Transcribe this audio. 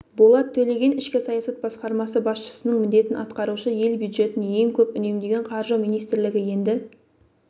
болат төлеген ішкі саясат басқармасы басшысының міндетін атқарушы ел бюджетін ең көп үнемдеген қаржы министрлігі енді